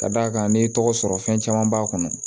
Ka d'a kan n'i tɔgɔ sɔrɔ fɛn caman b'a kɔnɔ